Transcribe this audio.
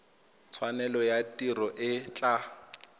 tshwanelo ya tiro e tla